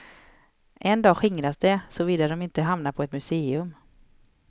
En dag skingras de såvida de inte hamnar på ett museum.